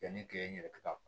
Yanni k'e yɛrɛ ka